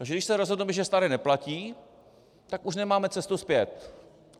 Takže když se rozhodneme, že staré neplatí, tak už nemáme cestu zpět.